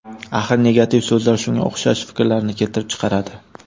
Axir negativ so‘zlar shunga o‘xshash fikrlarni keltirib chiqaradi.